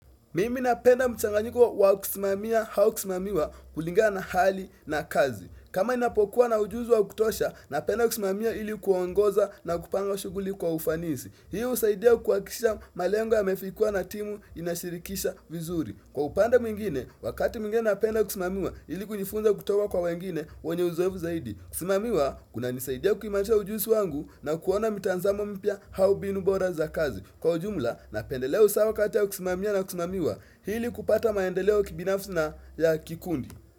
Mimi napenda mchanganyiko wa kusimamia au kusimamiwa kulingana na hali na kazi. Kama ninapokuwa na ujuzi wa kutosha, napenda kusimamia ili kuongoza na kupanga shughuli kwa ufanisi. Hiu husaidia kukwakisha malengo yamefikiwa na timu inashirikisha vizuri. Kwa upande mwingine, wakati mwingine napenda kusimamiwa ili kujifunza kutoka kwa wengine wenye uzoevu zaidi. Kusimamiwa, kuna nisaidia kuimarisha ujuzi wangu na kuona mitazamo mpya au mbinu bora za kazi. Kwa ujumla napendelea usawa kati ya kusimamia na kusimamiwa ili kupata maendeleo kibinafsi na ya kikundi.